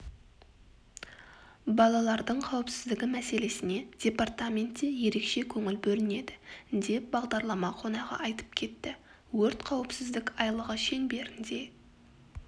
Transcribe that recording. балалардың қауіпсіздігі мәселесіне департаментте ерекше көңіл бөлінеді деп бағдарлама қонағы айтып кетті өрт қауіпсіздік айлығы шеңберінде